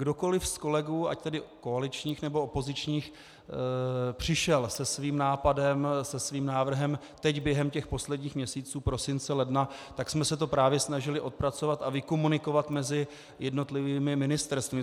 Kdokoliv z kolegů, ať tedy koaličních, nebo opozičních, přišel se svým nápadem, se svým návrhem teď během těch posledních měsíců, prosince, ledna, tak jsme se to právě snažili odpracovat a vykomunikovat mezi jednotlivými ministerstvy.